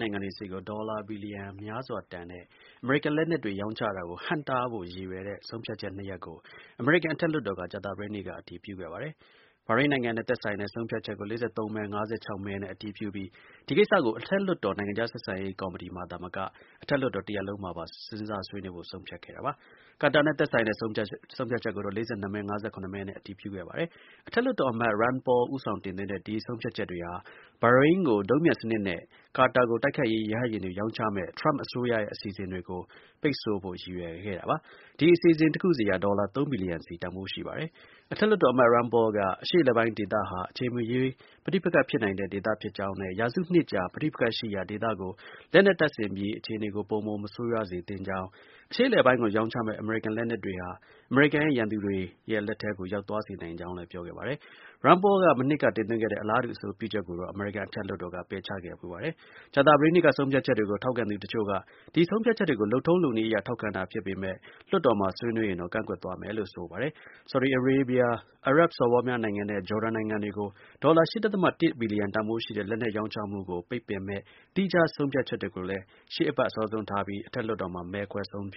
နိုင်ငံတွေဆီကို ဒေါ်လာ ဘီလီယံများစွာ တန်ဖိုးရှိတဲ့ အမေရိကန် လက်နက်တွေ ရောင်းချတာကို ဟန့်တားဖို့ ရည်ရွယ်တဲ့ ဆုံးဖြတ်ချက်နှစ်ရပ်ကို အမေရိကန် အထက်လွှတ်တော်က ကြာသပတေးနေ့က အတည်ပြုခဲ့ပါတယ်။ ဘာရိမ်းနိုင်ငံနဲ့ သက်ဆိုင်တဲ့ ဆုံးဖြတ်ချက်ကို ၄၃မဲ - ၅၆ မဲနဲ့ အတည်ပြုပြီး ဒီ ကိစ္စကို အထက်လွှတ်တော် နိုင်ငံခြား ဆက်ဆံရေးကော်မတီအပြင် အထက်လွှတ်တော် တစ်ရပ်လုံးမှာ စဉ်းစားဆွေးနွေးဖို့ ဆုံးဖြတ်ခဲ့တာပါ။ ကာတာနဲ့ သက်ဆိုင်တဲ့ ဆုံးဖြတ်ချက်ကိုတော့ ၄၂မဲ-၅၇မဲနဲ့ အတည်ပြုခဲ့ပါတယ်။ အထက်လွှတ်တော်အမတ် Rand Paul ဦးဆောင်တင်သွင်းတဲ့ ဆုံးဖြတ်ချက်တွေဟာ ဘာရိမ်းကို ဒုံးပျံစနစ်နဲ့ ကာတာကို တိုက်ခိုက်ရေး ရဟတ်ယာဉ်တွေ ရောင်းချမယ့် ထရမ့် အစိုးရရဲ့ အစီအစဉ်တွေကို ပိတ်ဆို့ဖို့ ရည်ရွယ်ပါတယ်။ ဒီ အစီအစဉ် တစ်ခုစီက ဒေါ်လာ ၃ ဘီလီယံ စီ တန်ဖိုး ရှိပါတယ်။ အထက်လွှတ်တော်အမတ် Rand Paul က အရှေ့အလယ်ပိုင်းဒေသဟာ အချိန်မရွေး ပဋိပက္ခဖြစ်နိုင်တဲ့ ဒေသဖြစ်ကြောင်းနဲ့ ရာစုနှစ်ကြာ ပဋိပက္ခရှိရာ ဒေသကို လက်နက်တပ်ဆင်ပြီး အခြေအနေကို ပိုမို မဆိုးရွားစေသင့်ကြောင်း၊ အရှေ့အလယ်ပိုင်းကို ရောင်းချးမယ့် အမေရိကန်လက်နက်တွေ ဟာ အမေရိကန်ရဲ့ ရန်သူတွေရဲ့ လက်ထဲကို ရောက်သွားစေနိုင်ကြောင်း ပြောခဲ့ပါတယ်။ Rand Paul က မနှစ်က တင်သွင်းခဲ့တဲ့ အလားတူ အဆိုပြုချက်ကိုတော့ အမေရိကန် အထက်လွှတ်တော်က ပယ်ချခဲ့ဖူးပါတယ်။ ကြာသပတေးနေ့က ဆုံးဖြတ်ချက်တွေကို ထောက်ခံသူတစ်ချို့က ဒီ ဆုံးဖြတ်ချက်တွေကို လုပ်ထုံးလုပ်နည်းအရ ထောက်ခံတာ ဖြစ်ပေမဲ့ လွှတ်တော်မှာ ဆွေးနွေးရင်တော့ ကန့်ကွက်သွားမယ်လို့ ဆိုပါတယ်။ ဆော်ဒီအာရေးဗျ၊ အာရပ်စော်ဘွားများနိုင်ငံနဲ့ ဂျော်ဒန်နိုင်ငံတွေကို လက်နက်ရောင်းချမှာကို ပိတ်ပင်မယ့် သီးခြား ဆုံးဖြတ်ချက်တွေကိုလည်း ရှေ့အပတ် အစောဆုံးထားပြီး အထက်လွှတ်တော် မဲခွဲ ဆုံးဖြတ်